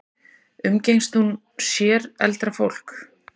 Umgengst hún sér eldra fólk?